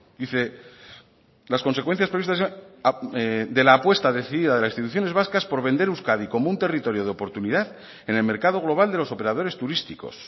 dice las consecuencias previstas de la apuesta decidida de las instituciones vascas por vender euskadi como un territorio de oportunidad en el mercado global de los operadores turísticos